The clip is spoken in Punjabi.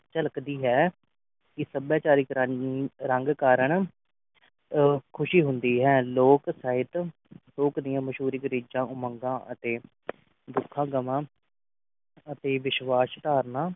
ਝਲਕਦੀ ਹੈ ਕੇ ਸਭਿਆਚਾਰਿਕ ਰਾਹੀਂ ਰੰਗ ਕਾਰਨ ਅਹ ਖੁਸ਼ੀ ਹੁੰਦੀ ਹੈ ਲੋਕ ਸਾਹਿਤ ਲੋਕ ਦੀ ਮਸਹੂਰੀ ਰਿਚਾ ਉਮੰਗ ਅਤੇ ਦੁਖ ਗਵਾ ਅਤੇ ਵਿਸ਼ਵਾਸ ਧਾਰਨਾ